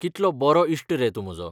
कितलो बरो इश्ट रे तूं म्हजो!